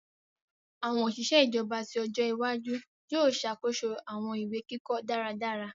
Awọn oṣiṣẹ ijọba ti ọjọ iwaju yoo ṣakoso awọn iwe-kikọ daradara.